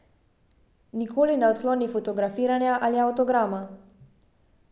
Nikoli ne odkloni fotografiranja ali avtograma.